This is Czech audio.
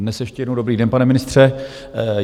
Dnes ještě jednou dobrý den, pane ministře.